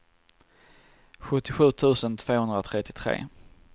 sjuttiosju tusen tvåhundratrettiotre